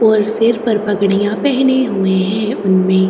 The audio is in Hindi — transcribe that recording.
और सिर पर पगड़ियाँ पहने हुए है उनमें --